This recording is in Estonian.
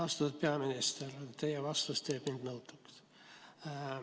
Austatud peaminister, teie vastus teeb mind nõutuks.